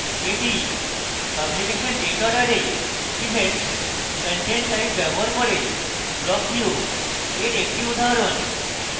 এটি publication date order a events content type ব্যবহার করে block view এর একটি উদাহরণ